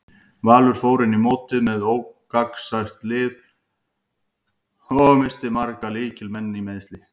Valur fór inn í mótið með ógnarsterkt lið og missti marga lykil leikmenn í meiðsli.